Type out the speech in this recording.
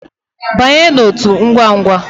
Banye n'otu ngwangwa